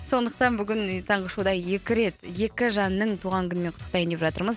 сондықтан бүгін таңғы шоуда екі рет екі жанның туған күнімен құттықтайын деп жатырмыз